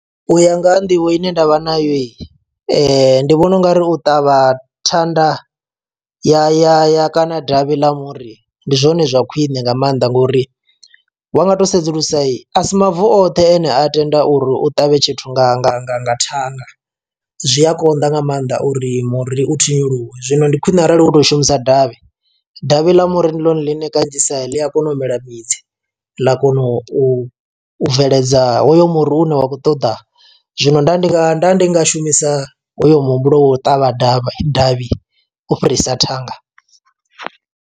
U ya nga ha nḓivho ine ndavha nayo yi ndi vhona ungari u ṱavha thanda ya ya ya kana davhi ḽa muri ndi zwone zwa khwine nga maanḓa ngori, wa nga to sedzulusa asi mavu oṱhe ane a tenda uri u ṱavhe tshithu nga nga nga nga thanda zwi a konḓa nga maanḓa uri muri u thinyiluwe zwino ndi khwine arali hu tou shumisa davhi, davhi ḽa muri ndi ḽone ḽine kanzhisa ḽi a kona u mela midzi ḽa kona u u bveledza hoyo muri une wa khou ṱoḓa, zwino nda ndi nga shumisa hoyo muhumbulo wa u ṱavha davhi davhi u fhirisa thanga.